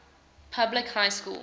public high school